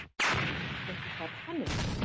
Ertu ekki karlmenni?